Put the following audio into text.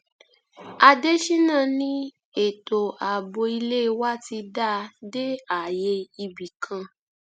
àdéṣínà ni ètò ààbò ilé wa ti dáa dé ààyè ibì kan